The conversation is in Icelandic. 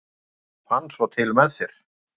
ég fann svo til með þér!